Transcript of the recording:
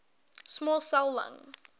small cell lung